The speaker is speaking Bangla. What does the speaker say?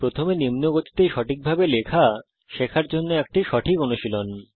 প্রথমে নিম্ন গতিতে সঠিকভাবে লেখা শেখার জন্য এটি সঠিক অনুশীলন